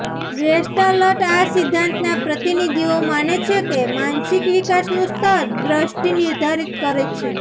gestalt આ સિદ્ધાંતના પ્રતિનિધિઓ માને છે કે માનસિક વિકાસનું સ્તર દ્રષ્ટિ નિર્ધારિત કરે છે